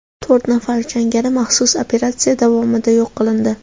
To‘rt nafar jangari maxsus operatsiya davomida yo‘q qilindi.